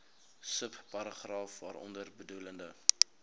subparagraaf waaronder bedoelde